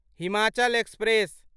Himachal express